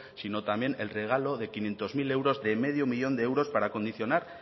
sino también el regalo de quinientos mil euros de medio millón de euros para condicionar